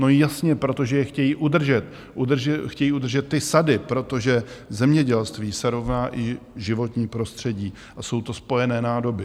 No jasně, protože je chtějí udržet, chtějí udržet ty sady, protože zemědělství se rovná i životní prostředí a jsou to spojené nádoby.